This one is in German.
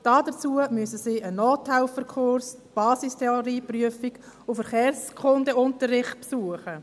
Dazu müssen sie einen Nothelferkurs, die Basistheorieprüfung und Verkehrskundeunterricht besuchen.